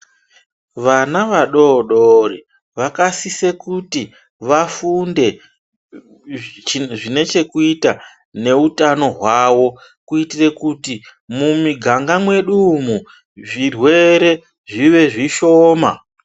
Vana vadodori vakasise kuti vafunde zvine chekuita neutano hwawo kuitire kuti mumiganga mwedu umwu zvirwere zvive zvishoma.